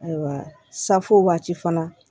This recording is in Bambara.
Ayiwa safo waati fana